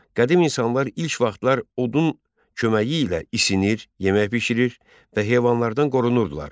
Qədim insanlar ilk vaxtlar odun köməyi ilə isinir, yemək bişirir və heyvanlardan qorunurdular.